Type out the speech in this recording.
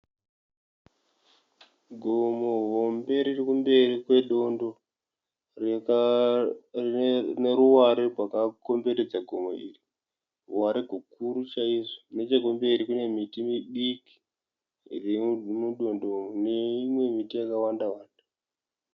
Gomo hombe riri kumberi kwedondo rine ruware rwakapoteredza gomo iri ,ruware rwukuru kwazvo .Nechemberi kune miti midiki iri mudondo neimwe miti yakawanda wanda.